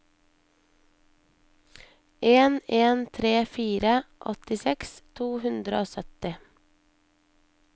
en en tre fire åttiseks to hundre og sytti